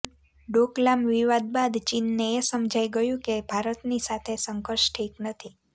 ડોકલામ વિવાદ બાદ ચીનને એ સમજાઇ ગયું છે કે ભારતની સાથે સંઘર્ષ ઠીક નથી